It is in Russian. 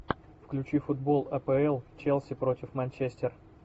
включи футбол апл челси против манчестер